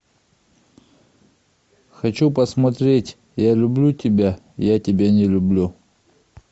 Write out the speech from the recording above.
хочу посмотреть я люблю тебя я тебя не люблю